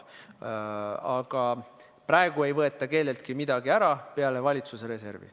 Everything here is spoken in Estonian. Aga praegu ei võeta kelleltki midagi ära, välja arvatud valitsuse reserv.